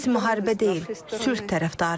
Biz müharibə deyil, sülh tərəfdarıyıq.